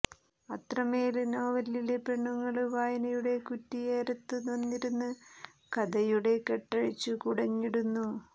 അത്രമേല് നോവലിലെ പെണ്ണുങ്ങള് വായനയുടെ കുറ്റിയേരത്തു വന്നിരുന്ന് കതയുടെ കെട്ടഴിച്ചു കുടഞ്ഞിടുന്നു